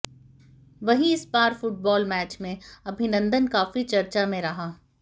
वहीं इस बार फुटबाल मैच में अभिनंदन काफी चर्चा में रहा